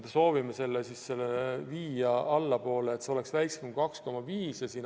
Me soovime selle viia allapoole, et see oleks väiksem kui 2,5.